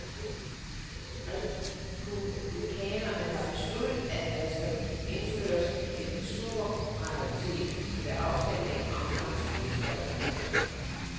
Republikanerne har besluttet, at der skal indføres en supermajoritet ved afstemning om fremtidige skatteforhøjelser.